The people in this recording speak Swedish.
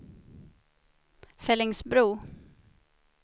Fellingsbro